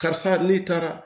Karisa ne taara